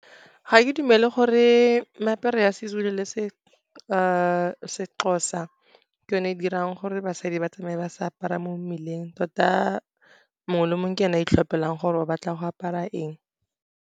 Ga ke dumele gore meaparo ya Sezulu le Sexhosa ke yone e dirang gore basadi ba tsamaye ba sa apara mo mmeleng. Tota mongwe le mongwe ke ene a itlhophelang gore o batla go apara eng.